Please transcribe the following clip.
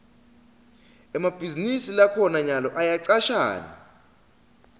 emabhizinisi lakhona nyalo ayacashana